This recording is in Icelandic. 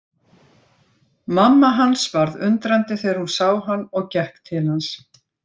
Mamma hans varð undrandi þegar hún sá hann og gekk til hans.